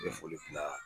Ne foli kunna